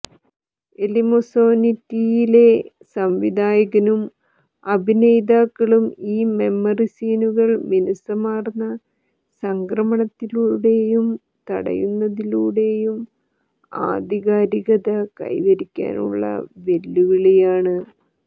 എലിമോസോനിററിയിലെ സംവിധായകനും അഭിനേതാക്കളും ഈ മെമ്മറി സീനുകൾ മിനുസമാർന്ന സംക്രമണങ്ങളിലൂടെയും തടയുന്നതിലൂടെയും ആധികാരികത കൈവരിക്കാനുള്ള വെല്ലുവിളിയാണ്